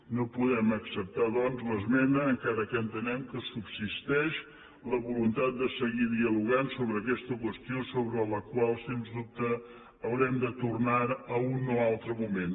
no podem acceptar doncs l’esmena encara que entenem que subsisteix la voluntat de seguir dialogant sobre aquesta qüestió sobre la qual sens dubte haurem de tornar en un o altre moment